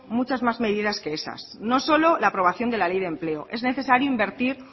muchas más medidas que esas no solo la aprobación de la ley de empleo es necesario invertir